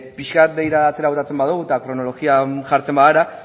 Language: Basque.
pixka bat begirada atzera botatzen badugu eta kronologian jartzen bagara